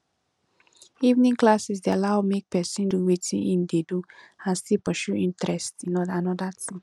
evening classes de allow make persin do wetin in de do and still pursue interest in another thing